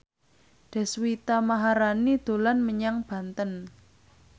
Deswita Maharani dolan menyang Banten